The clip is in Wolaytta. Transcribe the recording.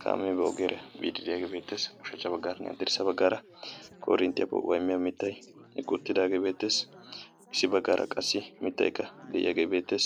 kaame ba ogiyaara biide de'iyaage beettes, ushachcha baggaaranne hadirssa baggaara korinttiyaa po'uwanne mitta eqqi uttidaagee beettees, issi baggaara qassi mittaykka de'iyaage beettees,